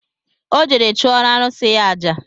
Ọ jere chụọrọ arụsị ya aja